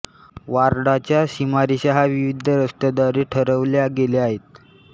वॉर्डाच्या सीमारेषा ह्या विविध रस्त्यांद्वारे ठरवल्या गेल्या आहेत